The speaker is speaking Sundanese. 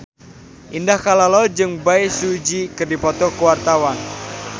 Indah Kalalo jeung Bae Su Ji keur dipoto ku wartawan